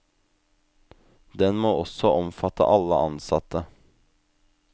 Den må også omfatte alle ansatte.